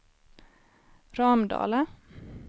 Ramdala